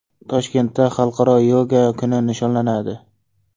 Toshkentda Xalqaro yoga kuni nishonlanadi.